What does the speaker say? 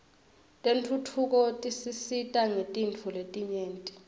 tentfutfuko tisisita ngetintfo letinyenti